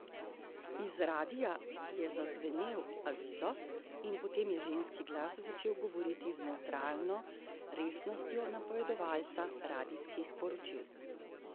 Iz radia je zazvenel avizo in potem je ženski glas začel govoriti z nevtralno resnostjo napovedovalca radijskih poročil.